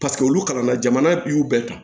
Paseke olu kalanna jamana y'u bɛɛ ta